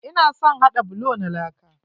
Ina son haɗa bulo na laka.